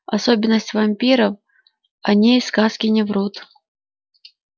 особенность вампиров о ней сказки не врут